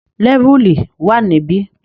Lẹ́vùlì wà níbi